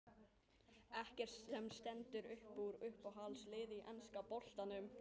Ekkert sem stendur uppúr Uppáhalds lið í enska boltanum?